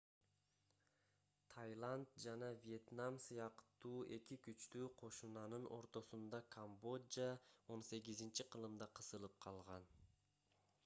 тайланд жана вьетнам сыяктуу эки күчтүү кошунанын ортосунда камбожа 18-кылымда кысылып калган